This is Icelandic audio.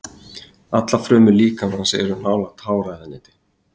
Allar frumur líkamans eru nálægt háræðaneti.